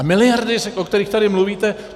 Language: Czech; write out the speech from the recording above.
A miliardy, o kterých tady mluvíte.